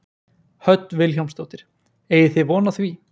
Hödd Vilhjálmsdóttir: Eigið þið von á því?